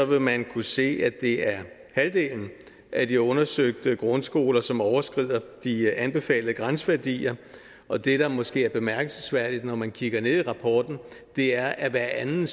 vil man kunne se at det er halvdelen af de undersøgte grundskoler som overskrider de anbefalede grænseværdier og det der måske er bemærkelsesværdigt når man kigger ned i rapporten er at hver anden